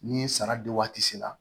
Ni sara di waati sera